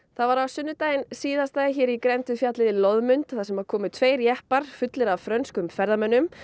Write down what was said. það var á sunnudaginn síðasta hér í grennd við fjallið Loðmund þar sem komu tveir jeppar fullir af frönskum ferðamönnum